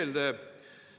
Selle nimel me ju siin oleme.